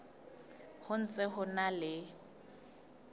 ho ntse ho na le